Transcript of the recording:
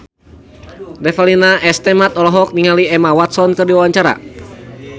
Revalina S. Temat olohok ningali Emma Watson keur diwawancara